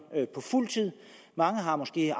fuld tid mange har måske